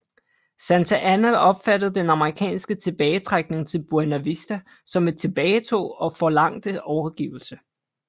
Santa Anna opfattede den amerikanske tilbagetrækning til Buena Vista som et tilbagetog og forlangte overgivelse